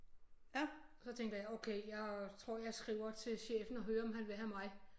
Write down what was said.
Og så tænker jeg okay jeg tror jeg skriver til chefen og hører om han vil have mig